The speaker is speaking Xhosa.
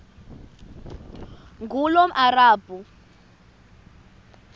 ngulomarabu